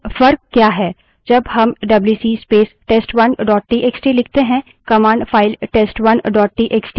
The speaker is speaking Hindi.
जब हम WC space test1 dot TXT लिखते हैं command file test1 dot TXT को खोलती और उससे reads पढ़ती करती है